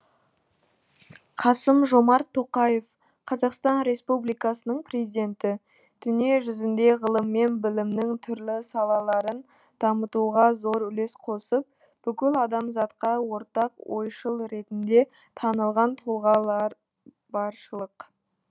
қасым жомарт тоқаев қазақстан республикасының президенті дүние жүзінде ғылым мен білімнің түрлі салаларын дамытуға зор үлес қосып бүкіл адамзатқа ортақ ойшыл ретінде танылған тұлғалар баршылық